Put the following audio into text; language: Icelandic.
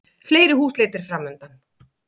Fleiri húsleitir framundan